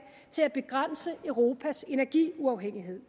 til at begrænse europas energiafhængighed